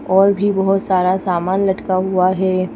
और भी बहुत सारा सामान लटका हुआ है।